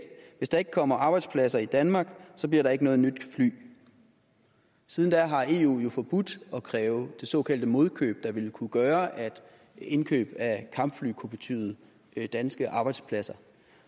hvis der ikke kommer arbejdspladser i danmark så bliver der ikke noget nyt fly siden da har eu jo forbudt at kræve det såkaldte modkøb der ville kunne gøre at indkøb af kampfly kunne betyde danske arbejdspladser